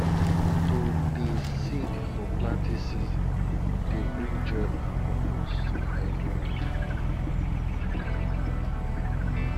to dey sing for planting season dey bring joy and purpose to everyone